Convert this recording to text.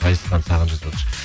ғазизхан саған жазыватыр